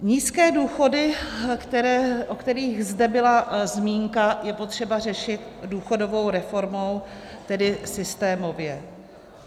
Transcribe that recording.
Nízké důchody, o kterých zde byla zmínka, je potřeba řešit důchodovou reformou, tedy systémově.